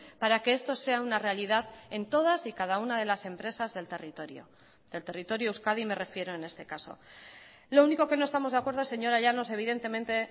para que esto sea una realidad en todas y cada una de las empresas del territorio del territorio euskadi me refiero en este caso lo único que no estamos de acuerdo señora llanos evidentemente